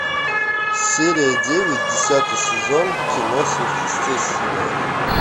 серия девять десятый сезон кино сверхъестественное